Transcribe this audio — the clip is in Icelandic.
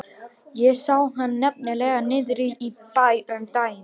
Ég sá hann nefnilega niðri í bæ um daginn.